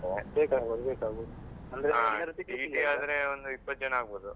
ಬೇಕಾಗ್ಬೋದು ಬೇಕಾಗ್ಬೋದು. TT ಆದ್ರೆ. ಒಂದು ಇಪ್ಪತ್ತು ಜನ ಆಗ್ಬೋದು.